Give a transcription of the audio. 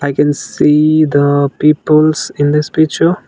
we can see the peoples in this picture.